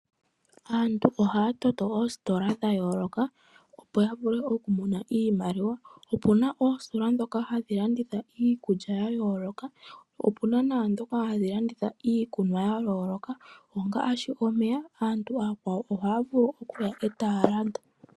Aantu ohaya toto oositola dha yooloka , opo ya vule oku mona iimaliwa. Opuna oositola ndhoka hadhi landitha iikulya ya yooloka, opuna naandhoka hadhi landitha iikunwa ya yooloka, ongaashi omeya. Aantu aakwawo ohaya vulu oku ya e taya landa.